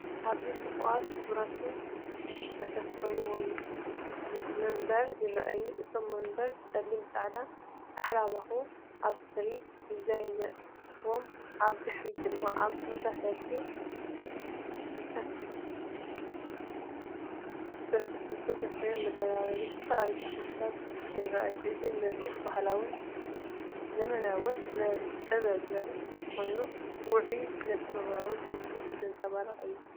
ኣብዚ ጽቡቓትን ክቡባትን ዝተሰፍዩ መንበር ይረኣዩ። እቶም መንበር ብጸሊም፣ ጻዕዳ ዝተሓላለኸ ኣብስትራክት ዲዛይን ኣለዎም። ኣብ ድሕሪት ድማ ኣብ ተመሳሳሊ ዝተሰፍየ መደርደሪ ዝተፈላለዩ ተኽልታት ይረኣዩ። እዚ ምርኢት ባህላውን ዘመናውን ስነ-ጥበብ ዘርኢ ኮይኑ ውዑይን ስነ-ጥበባውን ስምዒት ዘንጸባርቕ እዩ።